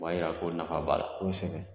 O ba yira ko nafa b'a la. kosɛbɛ